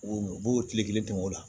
U b'o tile kelen dun o la